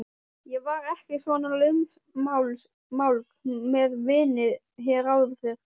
Ég var ekki svona lausmálg með víni hér áður fyrr.